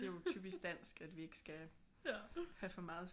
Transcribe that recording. Det er jo typisk dansk at vi ikke skal have for meget